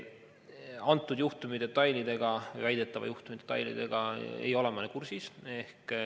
Antud juhtumi detailidega või väidetava juhtumi detailidega ei ole ma kursis.